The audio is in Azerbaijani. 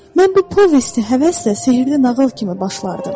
Mən bu povesti həvəslə sehrli nağıl kimi başlardım.